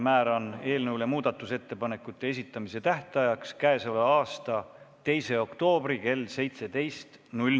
Määran muudatusettepanekute esitamise tähtajaks k.a 2. oktoobri kell 17.